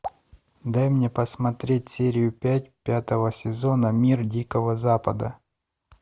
дай мне посмотреть серию пять пятого сезона мир дикого запада